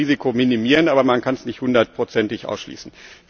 Man muss das Risiko minimieren, aber man kann es nicht 100 ig ausschließen.